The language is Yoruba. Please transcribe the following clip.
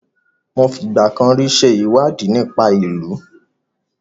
Mo fi ìgbà kan rí ṣe ìwádìí nípa ìlù.